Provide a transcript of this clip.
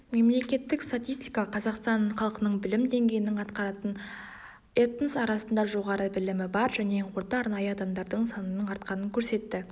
мемлекеттік статистика қазақстан халқының білім деңгейінің артқанын этнос арасында жоғарғы білімі бар және орта арнайы адамдардың санының артқанын көрсетті